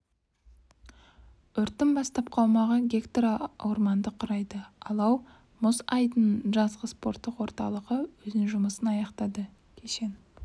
өрттің бастапқы аумағы га орманды құрайды алау мұз айдынының жазғы спорттық орталығы өзінің жұмысын аяқтады кешен